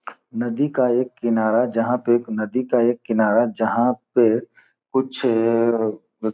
नदी का एक किनारा जहाॅं पे एक नदी का एक किनारा जहाॅं पे कुछ ए- --